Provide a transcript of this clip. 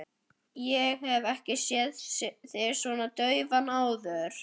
Ég hef ekki séð þig svona daufa áður.